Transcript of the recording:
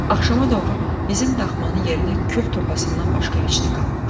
Axşama doğru bizim daxmanın yerinə kül topasından başqa heç nə qalmamışdı.